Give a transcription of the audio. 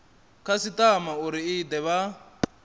khasitama uri i de vha